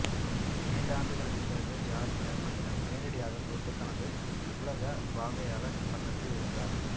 இரண்டு ஆண்டுகளுக்குப் பின்னர் ஜியார்ஜ் ஃபோர்மனிடம் நேரடியாகத் தோற்று தனது உலக வாகையாளர் பட்டத்தை இழந்தார்